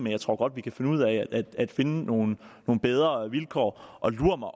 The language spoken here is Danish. jeg tror godt vi kan finde ud af at finde nogle bedre vilkår og lur mig